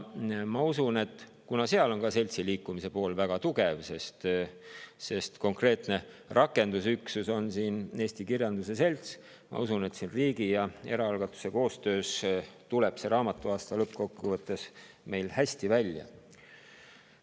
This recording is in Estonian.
Ma usun, et kuna seal on ka seltsiliikumise pool väga tugev, sest konkreetne rakendusüksus on seal Eesti Kirjanduse Selts, siis riigi ja eraalgatuse koostöös tuleb see raamatuaasta meil lõppkokkuvõttes hästi välja.